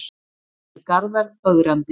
segir Garðar ögrandi.